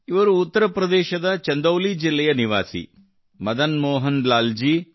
ಇವರು ಉತ್ತರ ಪ್ರದೇಶದ ಚಂದೌಲಿ ಜಿಲ್ಲೆಯ ನಿವಾಸಿ ಮದನ್ ಮೋಹನ್ ಲಾಲ್ ಜಿ